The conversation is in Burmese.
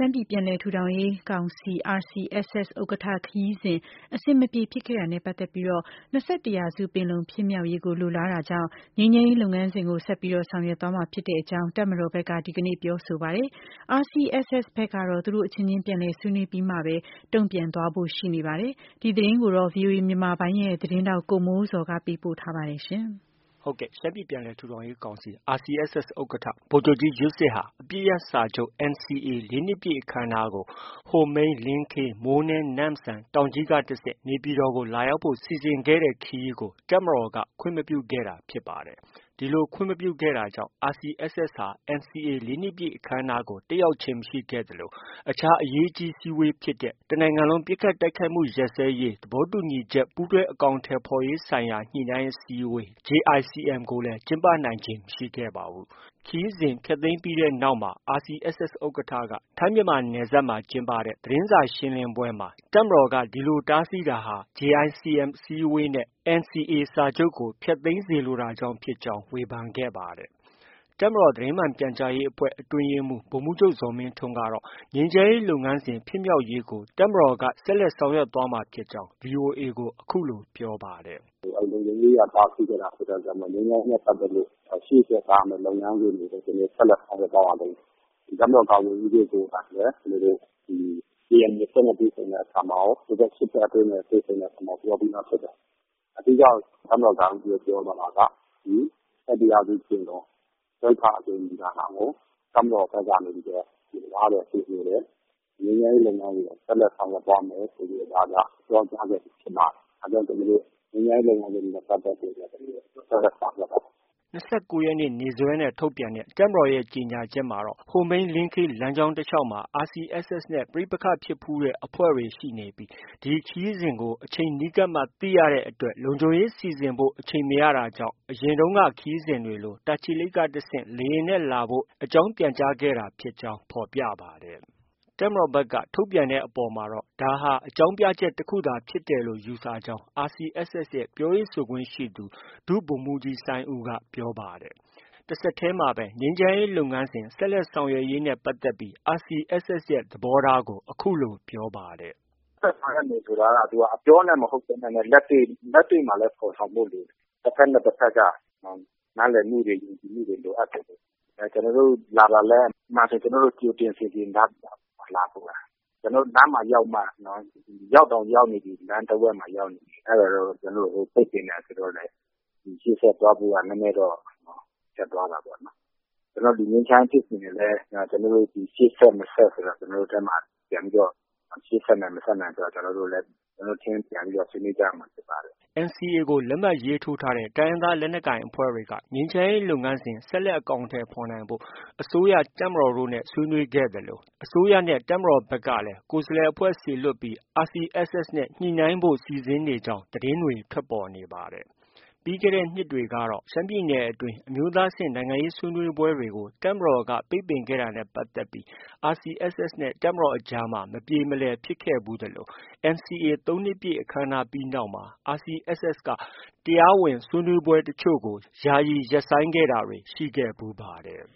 မ်းပြည်ပြန်လည်ထူထောင်ရေးကောင်စီ RCSS ဥက္ကဌ ခရီးစဉ် အဆင်မပြေဖြစ်ခဲ့ တာနဲ့ပတ်သက်ပြီး ၂၁ရာစုပင်လုံဖြစ်မြောက်ရေးကို လိုလားတာကြောင့် ငြိမ်းချမ်းရေး လုပ်ငန်းစဉ်ကို ဆက်လက် ဆောင်ရွက်သွားမှာဖြစ်ကြောင်းတပ်မတော်ဘက်က ဒီနေ့ ပြောဆိုလိုက်ပါတယ်။ RCSS ဘက်ကတော့ သူတို့အချင်းချင်း ပြန်လည်ဆွေးနွေးပြီးမှ တုံ့ပြန်သွားဖို့ ရှိနေပါတယ်။ ဒီသတင်းကို ဗွီအိုအေ မြန်မာပိုင်းရဲ့ သတင်းထောက် ကိုမိုးဇော်က တင်ပြထားပါတယ်။ ရှမ်းပြည်ပြန်လည် ထူထောင်ရေးကောင်စီ RCSS ဥက္ကဌ ဗိုလ်ချုပ်ကြီး ယွတ်စစ်ဟာ အပစ်ရပ်စာချုပ် NCA ၄နှစ်ပြည့်အခမ်းအနားကို ဟိုမိန်း-လင်းခေး- မိုးနဲ- နမ့်စန်- တောင်ကြီး ကတဆင့် နေပြည်တော်ကို လာရောက်ဖို့ စီစဉ်ခဲ့တဲ့ ခရီးကို တပ်မတော်က ခွင့်မပြုခဲ့တာဖြစ်ပါတယ်။ ဒီလိုခွင့်မပြုတာကြောင့် RCSS အဖွဲ့ဟာ NCA ၄နှစ်ပြည့်အခမ်းအနားကို တက်ရောက်ခြင်းမရှိသလို အခြားအရေးကြီး အစည်းအဝေးဖြစ်တဲ့ တစ်နိုင်ငံလုံးပစ်ခတ်တိုက်ခိုက်မှုရပ်စဲရေးသဘောတူညီချက် ပူးတွဲအကောင်အထည်ဖော်ရေးဆိုင်ရာ ညှိနှိုင်းအစည်းအဝေး JICM ကိုလည်း ကျင်းပနိုင်ခြင်း မရှိခဲ့ပါဘူး။ ခရီးစဉ်ဖျက်သိမ်းပြီးတဲ့နောက်မှာတော့ RCSS ဥက္ကဌက ထိုင်းမြန်မာနယ်စပ်မှာ ကျင်းပတဲ့သတင်းစာရှင်းလင်းပွဲမှာတပ်မတော်က တားဆီးတာဟာ JICM အစည်းအဝေးနဲ့ NCA စာချုပ်ကို ဖျက်သိမ်းလိုတာကြောင့် ဖြစ်ကြောင်း ဝေဖန်ခဲ့ပါတယ်။ တပ်မတော်သတင်းမှန်ပြန်ကြားရေးအဖွဲ့ အတွင်းရေးမှူး ဗိုလ်မှုးချုပ် ဇော်မင်းထွန်းက ငြိမ်းချမ်းရေးလုပ်ငန်းစဉ် ဖြစ်မြောက်ရေးအတွက် ဆက်လက်ဆောင်ရွက်သွားမှာဖြစ်ကြောင်း VOA ကို အခုလို ပြောပါတယ်။ “ငြိမ်းချမ်းရေးနဲ့ပတ်သက်ပြီး ကျနော်တို့က တားဆီးချင်လို့ မဟုတ်ဘူး။ အဲဒီလုံခြုံရေးအရ တားဆီးခဲ့တာ ဖြစ်တဲ့အတွက်ကြောင့် အဲဒီငြိမ်းချမ်းရေးနဲ့ပတ်သက်ပြီး ရှေ့ဆက် သွားရမယ့် လုပ်ငန်းစဉ်တွေကို ကျနော်တို့ ဆက်လက် ဆောင်ရွက်သွားပါလိမ့်မယ်။ တပ်မတော်ကာကွယ်ရေးဦးစီးချုပ်ကိုယ်တိုင်လည်း ကျနော်တို့ ဒီ KNU အဖွဲ့နဲ့ တွေ့ဆုံတဲ့အခါမှာရော၊ ဒီဘက် ၈ဖွဲ့နဲ့ တွေ့ဆုံတဲ့အခါမှာရော ပြောပြီးသားဖြစ်တယ်။ အဓိက တပ်မတော်ကာကွယ်ရေးဦးစီးချုပ် ပြောသွားတာက ဒီ ၂၁ရာစုပင်လုံ စတုတ္ထအကြိမ် ညီလာခံကို တပ်မတော်ဘက် ကနေပြီးတော့ လိုလားတယ်၊ ကြိုဆိုတယ်။ ငြိမ်းချမ်းရေးလုပ်ငန်းစဉ်ကို ဆက်လက် ဆောင်ရွက်သွားမယ်ဆိုပြီးတော့ ပြောကြားခဲ့ပြီးဖြစ်ပါတယ်။ ဒါကြောင့် ကျနော်တို့ ငြိမ်းချမ်းရေးလုပ်ငန်းစဉ်နဲ့ ပတ်သက်ပြီးတော့ ကျနော်တို့ ဆက်လက် ဆောင်ရွက်သွားပါမယ်။” ၂၉ရက်နေ့ နေ့စွဲနဲ့ထုတ်ပြန်တဲ့ တပ်မတော်ရဲ့ ကြေညာချက်မှာတော့ ဟိုမိန်း-လင်းခေးလမ်းကြောင်း တစ်လျှောက်မှာ RCSS နဲ့ ပဋိပက္ခဖြစ်ဖူးတဲ့ အဖွဲ့တွေ ရှိနေပြီး ဒီခရီးစဉ်ကို အချိန်နီးကပ်မှ သိရလို့ လုံခြုံရေးစီစဉ်ဖို့ အချိန်မရတဲ့အတွက် အရင်တုံးက ခရီးစဉ်တွေလို တာချီလိတ်ကတစ်ဆင့် လေယာဉ်နဲ့ လာဖို့အကြောင်း ပြန်ကြားခဲ့ရတာဖြစ်ကြောင်း ဖော်ပြပါတယ်။ တပ်မတော်ဘက်က ထုတ်ပြန်တဲ့အပေါ်မှာတော့ ဒါဟာအကြောင်း ပြချက်တစ်ခုသာဖြစ်တယ်လို့ ယူဆကြောင်း RCSS ရဲ့ ပြောရေးဆိုခွင့်ရှိသူ ဒုဗိုလ်မှူးကြီးစိုင်းဦးက ပြောပါတယ်။ တဆက်တည်းမှာပဲ ငြိမ်းချမ်းရေးလုပ်ငန်းစဉ်ဆက်လက်ဆောင်ရွက်ရေးနဲ့ပတ်သက်ပြီး RCSS ရဲ့ သဘောထားကို အခုလို ပြောပါတယ်။ “ ဆက်ဆောင်ရွက်မယ်ဆိုတာက အပြောနဲ့ မဟုတ်ဘဲ လက်တွေ့ဆောင်ရွက်ဖို့လည်း လိုတာပေါ့လေ။ တစ်ဘက်နဲ့ တစ်ဘက်က နားလည်မှုတွေ ယုံကြည်မှုတွေ လိုအပ်တယ်လေ။ ကျနော်တို့ လာတာလည်း ကျနော်တို့ ကြိုတင်စီစဉ်ထားပြီးသားပါ။ လာဖို့ရာ။ကျနော်တို့ လမ်းမှာရောက်မှ၊ ရောက်တောင်ရောက်နေပြီ လမ်းတစ်ဝက်မှာရောက်မှ ကျနော်တို့ကို ပိတ်ပင်တယ်ဆိုတော့လည်း ရှေ့ဆက်သွားဖို့က နည်းနည်းတော့ ခက်သွားတာပေါ့နော်။ ဒီငြိမ်းချမ်းရေးဖြစ်စဉ်ကိုလည်း ကျနော်တို့ ရှေ့ဆက်၊ မဆက်ဆိုတာ ကျနော်တို့ထဲမှာ ပြန်ပြီးတော့ ရှေ့ဆက်နိုင် ၊ မဆက်နိုင်ဆိုတာလည်း ကျနော်တို့ အချင်းချင်း ပြန်ပြီးတော့ ဆွေးနွေးကြရမှာ ဖြစ်ပါတယ်။” NCA ကို လက်မှတ်ရေးထိုးထားတဲ့ တိုင်းရင်းသားလက်နက်ကိုင်အဖွဲ့တွေက ငြိမ်းချမ်းရေးလုပ်ငန်းစဉ် ဆက်လက် အကောင်အထည်ဖော်နိုင်ဖို့ အစိုးရ၊ တပ်မတော်နဲ့ ဆွေးနွေးခဲ့သလို အစိုးရနဲ့ တပ်မတော်ကလည်း ကိုယ်စားလှယ်အဖွဲ့စေလွှတ်ပြီး RCSS နဲ့ ညှိနှိုင်းဖို့ စီစဉ်နေကြောင်း သတင်းတွေ ထွက်ပေါ်နေပါတယ်။ ပြီးခဲ့တဲ့နှစ်တွေကတော့ ရှမ်းပြည်နယ်အတွင်း အမျိုးသားအဆင့် နိုင်ငံရေးဆွေးနွေးပွဲတွေကို တပ်မတော်က ပိတ်ပင်ခဲ့တာနဲ့ပတ်သက်ပြီး RCSS နဲ့ တပ်မတော်အကြား မပြေမလည်ဖြစ်ခဲ့ဖူးသလို NCA ၃နှစ်ပြည့် အခမ်းအနားပြီးနောက်မှာ RCSS က တရားဝင်ဆွေးနွေးပွဲအချို့ကို ယာယီရပ်ဆိုင်းခဲ့တာတွေ ရှိခဲ့ဖူးပါတယ်